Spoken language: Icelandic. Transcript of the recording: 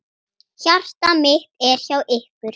Hjarta mitt er hjá ykkur.